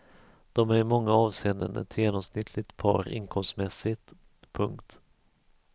De är i många avseenden ett genomsnittligt par inkomstmässigt. punkt